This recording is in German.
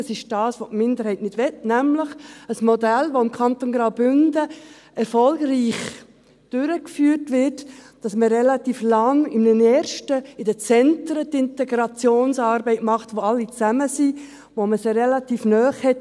Das ist dasjenige, welches die Minderheit nicht möchte, nämlich ein Modell, das im Kanton Graubünden erfolgreich durchgeführt wird, dass man relativ lang, in einem ersten Schritt, in den Zentren die Integrationsarbeit macht, wo alle zusammen sind, wo man sie relativ nah hat.